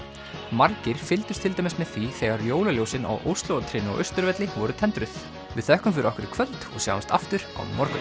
margir fylgdust til dæmis með því þegar jólaljósin á á Austurvelli voru tendruð við þökkum fyrir okkur í kvöld og sjáumst aftur á morgun